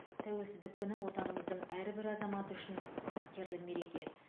тәуелсіздік күні отанымыздың әрбір азаматы үшін қастерлі мереке